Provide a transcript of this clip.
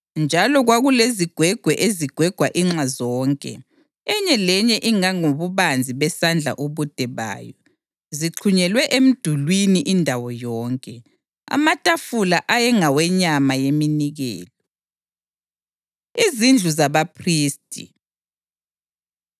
Njalo kwakulezingwegwe ezigwegwa inxa zonke, enye lenye ingangobubanzi besandla ubude bayo, zixhunyelwe emdulini indawo yonke. Amatafula ayengawenyama yeminikelo. Izindlu ZabaPhristi